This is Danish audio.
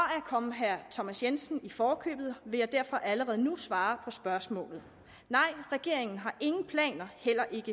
komme herre thomas jensen i forkøbet vil jeg derfor allerede nu svare på spørgsmålet nej regeringen har ingen planer heller ikke